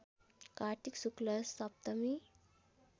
कार्तिक शुक्ल सप्तमी